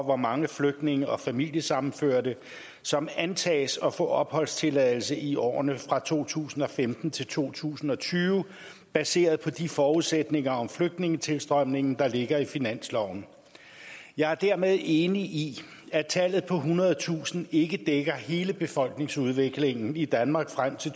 hvor mange flygtninge og familiesammenførte som antages at få opholdstilladelse i årene fra to tusind og femten til to tusind og tyve baseret på de forudsætninger om flygtningetilstrømningen der ligger i finansloven jeg er dermed enig i at tallet på ethundredetusind ikke dækker hele befolkningsudviklingen i danmark frem til